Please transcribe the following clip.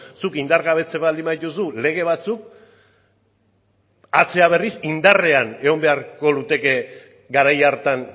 zuk indargabetzen baldin badituzu lege batzuk atzera berriz indarrean egon beharko lukete garai hartan